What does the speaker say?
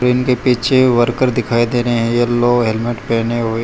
इनके पीछे वर्कर दिखाई दे रहे है येलो हेलमेट पहने हुए।